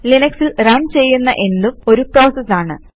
ലിനക്സിൽ run ചെയ്യുന്ന എന്തും ഒരു പ്രോസസ് ആണ്